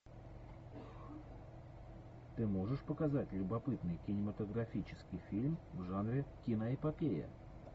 ты можешь показать любопытный кинематографический фильм в жанре киноэпопея